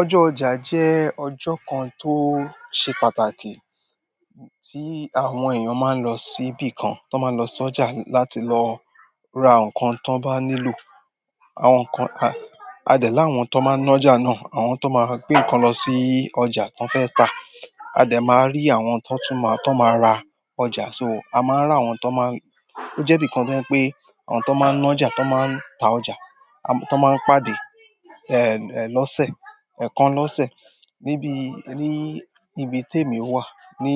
Ọjọ́ ọjà jẹ́ ọjọ́ kan tó ṣe pàtàkì tí àwọn èèyàn máa ń lọ síbí kan, t'ọ́n máa lọ sí ọjà láti lọ ra àwọn nǹkan t'ọ́n bá nílò. Àwọn nǹkan a-a dẹ̀ láwọn t'ọ́n máa ń ná'jà náà, àwọn t'ọ́n máa gbé nǹkan lọ sí ọjà t'ọ́n fẹ́ tà, a dẹ̀ máa rí àwọn t'ọ́n tún máa, t'ọ́n máa ra ọjà. So, a máa ń ráwọn t'ọ́n máa ń-- ó jẹ́ 'bìkan tó jẹ́ pé àwọn t'ọ́n máa ń ná'jà, t'ọ́n máa ń ta ọjà, tó máa ń pàdé, eh, lọ́sẹ̀, ẹ̀ẹ̀kan lọ́sẹ̀ níbi, ní ibi tí èmi wà, ní,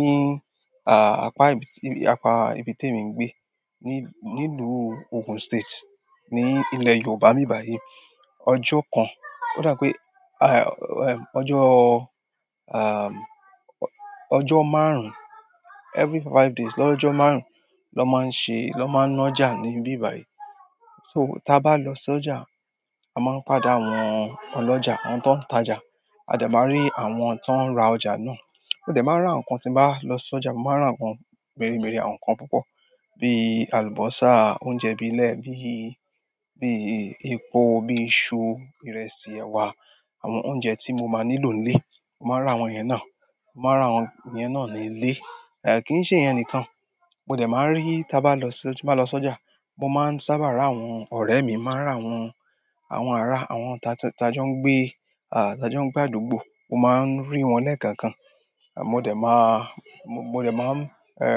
apá ibi tí, apá ibi tí èmi ń gbé, ní-nílùú Ogun State, ní ilẹ̀ Yoòbá ńbí báyìí. Ọjọ́ kan, ó dà pé, ọjọ́, ọjọ́ márùn-ún, every five five days, lọ́jọ́ márùn-ún l'ọ́n máa ń ṣe, l'ọ́n máa ń ná'jà ní ibí bàí. So, tí a bá lọ sọ́jà, a máa ń padà àwọn olọ́jà, àwọn tó ń ta ọjà, a dẹ̀ máa rí àwọn tó ń ra ọjà náà. Ó dẹ̀ máa rán àwọn nǹkan tí mo bá lọ sí ọjà, mo máa rán àwọn nǹkan mèremère, àwọn nǹkan púpọ̀ bí alùbọ́sà, oúnjẹ bílé, bíi, bíi epo, bíi iṣu, ìrẹsì, ẹ̀wà, àwọn oúnjẹ tí mo máa nílò ńlé. Mo máa n ràwọn yẹn náà. Mo máa rán àwọn yẹn náà nílé. Eh, kì í ṣe ìyẹn nìkan, mo dẹ̀ máa rí tí a bá lọ sí, tí mo bá lọ sí ọjà, mo máa ń sábà ra àwọn ọ̀rẹ́ mi, máa rán àwọn, àwọn ará, àwọn tí a jọ ń gbé, ah, tí a jọ ń gbé àdúgbò, mo máa ń rí wọn lẹ́ẹ̀kọ̀ọ̀kan. Mo dẹ̀ máa, mo dẹ̀ máa ń,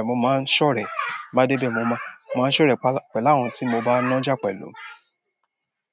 mo máa ń ṣọ̀rẹ́. Mo dédé, mo máa, mo máa ń ṣọ̀rẹ́ pẹ̀lú àwọn tí mo bá ná ọjà pẹ̀lú.